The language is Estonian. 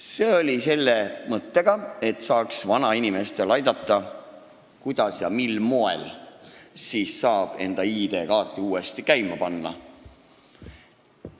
See oli tehtud selle mõttega, et saaks aidata vanainimestel ID-kaarti uuesti käima panna.